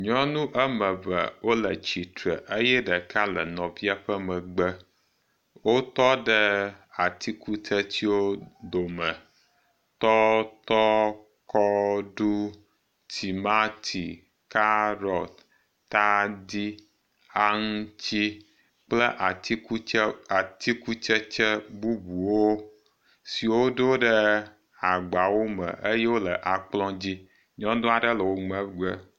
Nyɔnu ame eve wo le tsitre eye ɖeka le nɔvia ƒe megbe. Wotɔ ɖe atikutsetsewo dome. Tɔtɔ, kɔɖu, timati, kaɖɔt, tadi, aŋtsi kple atikutse atikutsetse bubuwo si wodo ɖe agbawo me eye wo le akplɔ dzi. Nyɔnu aɖe le wo megbe.